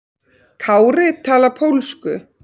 Kári talar pólsku.